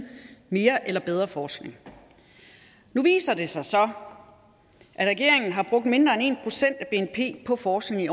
mere eller bedre forskning nu viser det sig så at regeringen har brugt mindre end en procent af bnp på forskning i